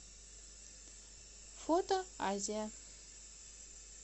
фото азия